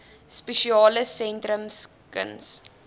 spesiale sentrums kuns